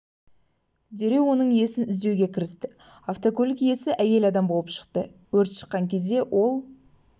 дереу оның иесін іздеуге кірісті автокөлік иесі әйел адам болып шықты өрт шыққан кезде ол